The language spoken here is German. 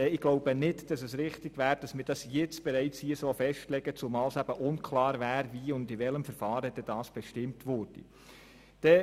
Meines Erachtens wäre es deshalb falsch, dies nun so festzulegen.